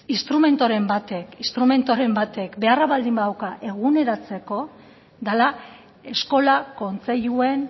instrumenturen batek beharra baldin badauka eguneratzeko dela eskola kontseiluen